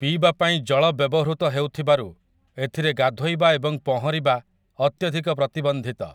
ପିଇବା ପାଇଁ ଜଳ ବ୍ୟବହୃତ ହେଉଥିବାରୁ ଏଥିରେ ଗାଧୋଇବା ଏବଂ ପହଁରିବା ଅତ୍ୟଧିକ ପ୍ରତିବନ୍ଧିତ ।